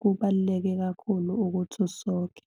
Kubaluleke kakhulu ukuthi usoke.